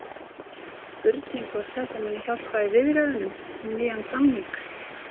Spurning hvort þetta muni hjálpa í viðræðunum um nýjan samning?